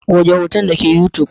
Goge hoton dake youtube.